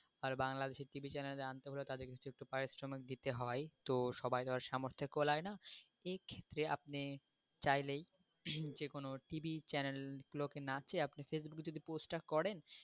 আর বাংলাদেশের TV র channel এ তাদেরকে কিছু পারিশ্রমিক দিতে হয় তো সবাইয়ের আর সামর্থে কোলায়না তো এই যে আপনি চাইলেই যেকোনো TV র channel গুলোকে না চেয়ে আপনি facebook এ কে যদি post গুলো করেন,